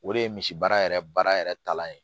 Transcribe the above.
O de ye misibaara yɛrɛ baara yɛrɛ kalan ye